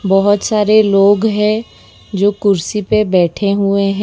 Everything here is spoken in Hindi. बहोत सारे लोग हैं जो कुर्सी पे बैठे हुए है।--